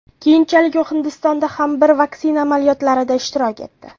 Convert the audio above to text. Keyinchalik u Hindistonda ham bir vaksina amaliyotlarida ishtirok etdi.